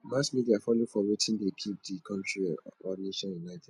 mass media follow for wetin de keep di country or nation united